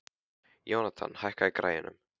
Jónatan, hækkaðu í græjunum.